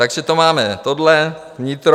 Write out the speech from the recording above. Takže to máme tohle, vnitro.